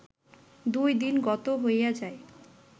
দুই দিন গত হইয়া যায়